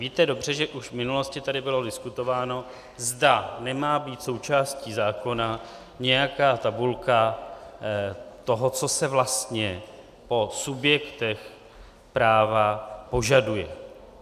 Víte dobře, že už v minulosti tady bylo diskutováno, zda má být součástí zákona nějaká tabulka toho, co se vlastně po subjektech práva požaduje.